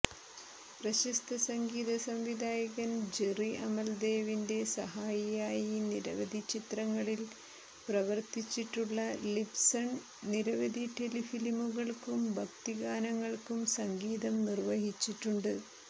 പ്രശസ്ത സംഗീത സംവിധായകൻ ജെറി അമൽദേവിന്റെ സഹായിയായി നിരവധി ചിത്രങ്ങളിൽ പ്രവർത്തിച്ചിട്ടുള്ള ലിപ്സൺ നിരവധി ടെലിഫിലിമുകൾക്കും ഭക്തിഗാനങ്ങൾക്കും സംഗീതം നിർവഹിച്ചിട്ടുണ്ട്